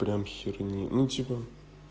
прямо херни ну типа